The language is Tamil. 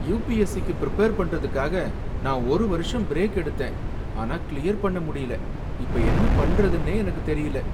யுபிஎஸ்சி க்கு பிரிப்பேர் பண்றதுக்காக நான் ஒரு வருஷம் பிரேக் எடுத்தேன், ஆனா கிளியர் பண்ண முடியல. இப்ப என்ன பண்றதுன்னே எனக்கு தெரியல?